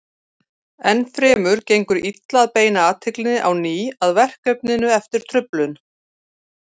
Enn fremur gengur illa að beina athyglinni á ný að verkefninu eftir truflun.